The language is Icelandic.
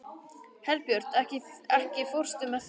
Herbjört, ekki fórstu með þeim?